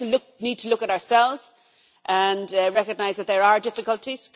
We also need to look at ourselves and recognise that there are difficulties.